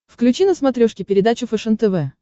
включи на смотрешке передачу фэшен тв